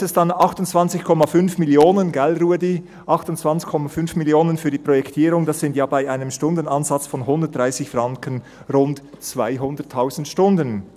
Da heisst es dann: «28,5 Mio. Franken» – nicht wahr Ruedi? – «für die Projektierung, das sind ja bei einem Stundenansatz von 130 Franken rund 200 000 Stunden.